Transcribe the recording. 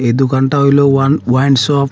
এই দোকানটা হইলো ওয়ান ওয়াইন শপ ।